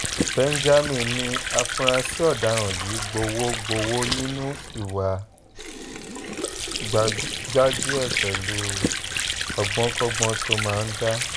benjamin ní àfúráṣí ọ̀daràn yìí gbowó gbowó nínú ìwà gbájú-ẹ̀ pẹ̀lú ọgbọ́nkọ́gbọ́n tó máa ń dá